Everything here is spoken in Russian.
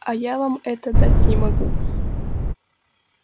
а я вам этого дать не могу